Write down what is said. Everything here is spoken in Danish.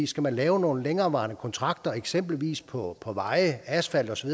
skal lave nogle længerevarende kontrakter eksempelvis på på veje asfalt osv